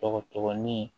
Dɔgɔtɔgɔnin